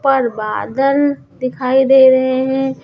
पर बादल दिखाई दे रहे हैं।